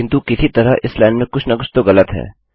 किन्तु किसी तरह इस लाइन में कुछ न कुछ तो ग़लत है